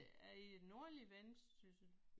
Ja i nordlig Vendsyssel